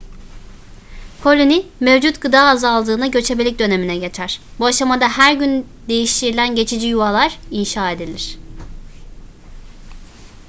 koloni mevcut gıda azaldığında göçebelik dönemine geçer bu aşamada her gün değiştirilen geçici yuvalar inşa edilir